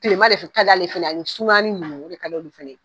Kileman de kad'ale ye fɛnɛ a ni sumayanin nunnu o de kad'u olu fɛnɛ ye.